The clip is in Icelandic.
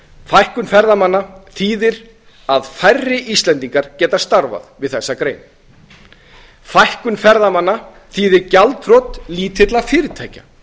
fækkun ferðamanna þýðir að færri íslendingar geta starfað við þessa grein fækkun ferðamanna þýðir gjaldþrot lítilla fyrirtækja